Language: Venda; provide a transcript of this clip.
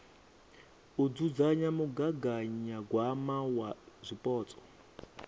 u dzudzanya mugaganyagwama wa zwipotso